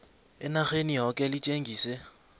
enarheni yoke litjengise